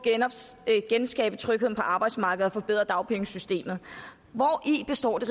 at genskabe trygheden på arbejdsmarkedet og forbedre dagpengesystemet hvori består det